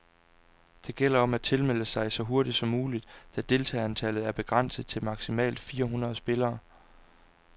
Det gælder om at tilmelde sig så hurtigt som muligt, da deltagerantallet er begrænset til maximalt fire hundrede spillere.